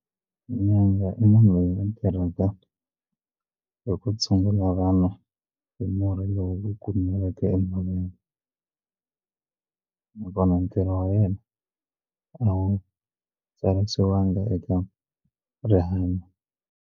Nyanga i munhu loyi a tirhaka hi ku tshungula vanhu hi murhi lowu kumiweke enhoveni nakona ntirho wa wena a wu tsarisiwangi eka rihanyo.